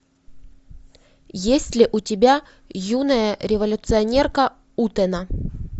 есть ли у тебя юная революционерка утэна